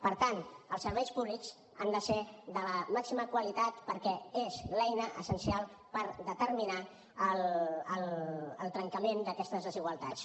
per tant els serveis públics han de ser de la màxima qualitat perquè són l’eina essencial per determinar el trencament d’aquestes desigualtats